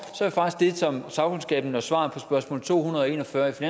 er faktisk det som sagkundskaben og svaret på spørgsmål to hundrede og en og fyrre til